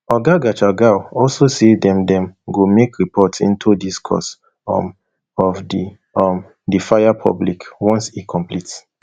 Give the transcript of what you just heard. oga gachagua also say dem dem go make report into di cause um of um di fire public once e complete